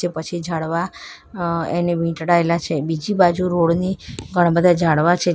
પછી ઝાડવા અ એને વીંટળાયેલા છે બીજી બાજુ રોડની ઘણા બધા ઝાડવા છે જે--